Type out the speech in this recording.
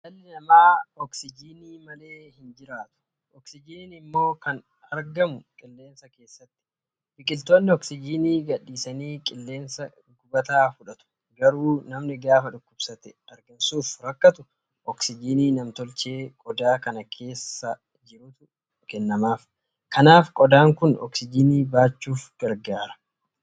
Dhalli namaa oksijiinii malee hin jiraatu. Oksijiinii immoo kan argatu qilleensa keessaati. Biqiltoonni oksijiinii gadhiisanii qilleensa gubataa fudhatu. Garuu namni gaafa dhukkubsatee hargansuuf rakkatu, oksijiinii namtolchee qodaa kana keessa jitu kanatu kennamaaf. Kanaaf qodaan kun oksijiinii baachuuf gargaara.